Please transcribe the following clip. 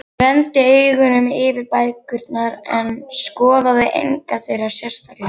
Hann renndi augunum yfir bækurnar en skoðaði enga þeirra sérstaklega.